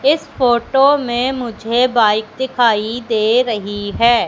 इस फोटो में मुझे बाइक दिखाई दे रही है।